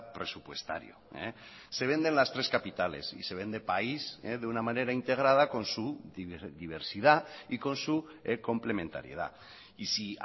presupuestario se venden las tres capitales y se vende país de una manera integrada con su diversidad y con su complementariedad y si